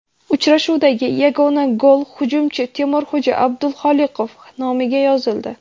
Uchrashuvdagi yagona gol hujumchi Temurxo‘ja Abduxoliqov nomiga yozildi .